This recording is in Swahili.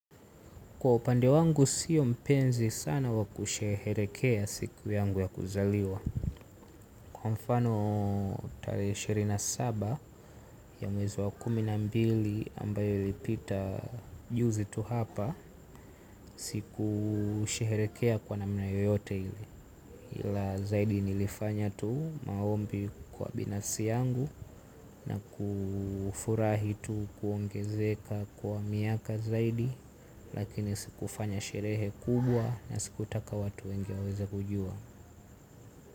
Kwa upande wangu sio mpenzi sana wa kusherehekea siku yangu ya kuzaliwa. Kwa mfano tarehe ishirina na saba ya mwezi wa kumi na mbili ambayo ilipita juzi tu hapa. Siku sherehekea kwa nana yoyote ili hila zaidi nilifanya tu maombi kwa binafsi yangu na kufurahi tu kuongezeka kwa miaka zaidi. Lakini sikufanya sherehe kubwa. Na sikutaka watu wengi waweza kujua.